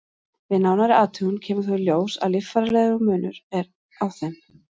Við nánari athugun kemur þó í ljós að líffærafræðilegur munur er á þeim.